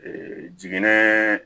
jiginɛ